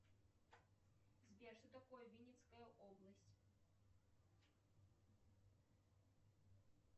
сбер что такое винницкая область